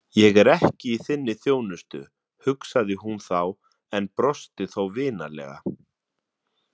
Ég er ekki í þinni þjónustu, hugsaði hún þá en brosti þó vinalega.